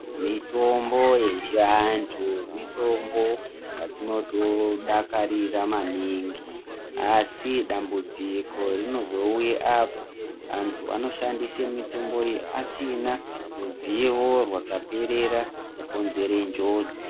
Mitombo yechivantu, mitombo yatinoto dakarira maningi asi dambudziko rinozouya apo antu anoshandise mitombo iyi asina ruzivo rwakaperera zvokonzere njodzi.